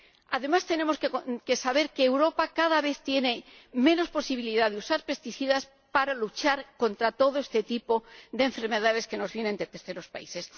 Además, tenemos que saber que Europa cada vez tiene menos posibilidad de usar plaguicidas para luchar contra todo este tipo de enfermedades que nos vienen de terceros países.